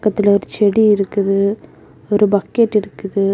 இதுல ஓரு செடி இருக்குது ஒரு பக்கெட் இருக்குது.